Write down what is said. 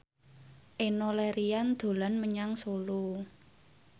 Enno Lerian dolan menyang Solo